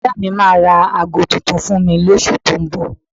Bọ́dà mi máa ra aago tuntun fún mi lóṣù tó ń bọ̀